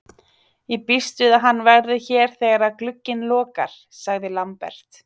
Ég býst við að hann verði hér þegar að glugginn lokar, sagði Lambert.